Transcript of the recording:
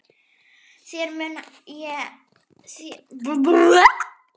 Þér mun ég aldrei gleyma.